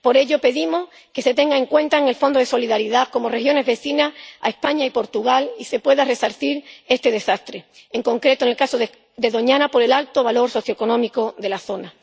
Por ello, pedimos que se tenga en cuenta en el Fondo de Solidaridad como regiones vecinas a España y Portugal y se pueda resarcir este desastre, en concreto en el caso de Doñana, por el alto valor socioeconómico de la zona.